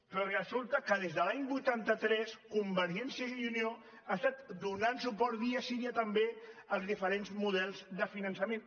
però resulta que des de l’any vuitanta tres convergència i unió ha estat donant suport dia sí dia també als diferents models de finançament